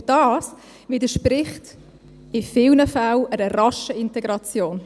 Und das widerspricht in vielen Fällen einer raschen Integration.